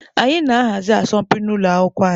Anyị na-ahazi asọmpi n'ụlọ akwụkwọ anyị.